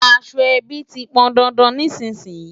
Aṣọ ẹbí ti pọn dandan nísìnyín.